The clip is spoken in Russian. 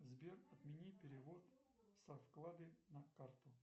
сбер отмени перевод со вклада на карту